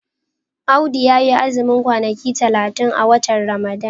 Audu ya yi azumin kwanaki talatin a watan Ramadan.